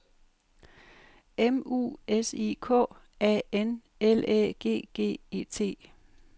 M U S I K A N L Æ G G E T